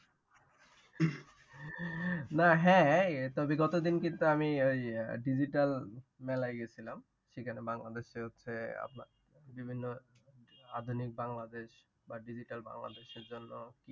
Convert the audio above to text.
না হ্যাঁ, তবে গত দিন কিন্তু আমি ঔ digital মেলায় গেছিলাম। সেখানে বাংলাদেশের হচ্ছে আপনার বিভিন্ন আধুনিক বাংলাদেশ বা digital বাংলাদেশের জন্যে।